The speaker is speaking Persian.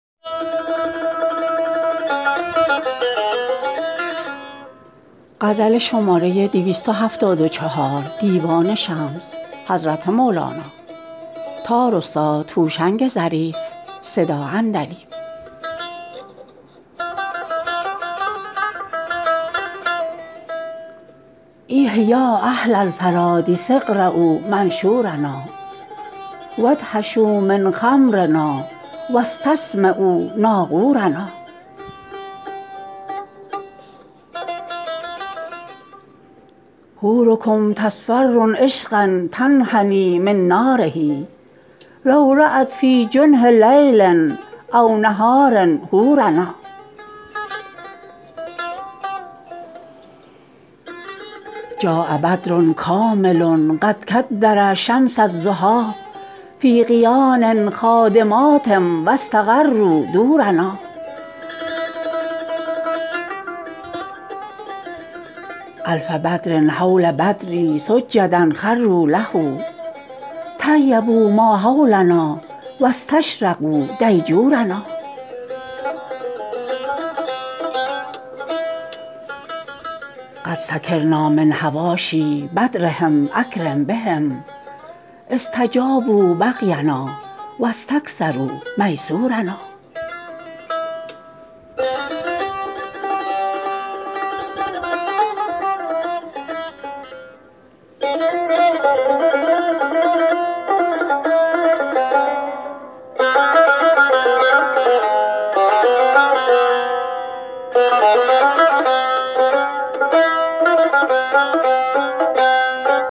ایه یا اهل الفرادیس اقرؤا منشورنا و ادهشوا من خمرنا و استسمعوا ناقورنا حورکم تصفر عشقا تنحنی من ناره لو رات فی جنح لیل او نهار حورنا جاء بدر کامل قد کدر الشمس الضحی فی قیان خادمات و استقروا دورنا الف بدر حول بدری سجدا خروا له طیبوا ما حولنا و استشرقوا دیجورنا قد سکرنا من حواشی بدرهم اکرم بهم استجابوا بغینا و استکثروا میسورنا